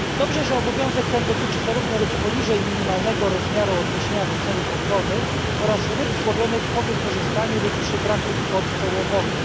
Dobrze, że obowiązek ten dotyczy zarówno ryb poniżej minimalnego rozmiaru odniesienia do celów ochrony oraz ryb złowionych po wykorzystaniu lub przy braku kwot połowowych.